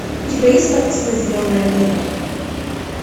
у тебя есть картина зеленая миля